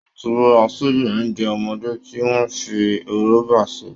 Wọ́n ti ra ṣíbí oúnjẹ ọmọdé tí wọ́n fi rọ́bà ṣe